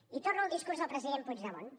i torno al discurs del president puigdemont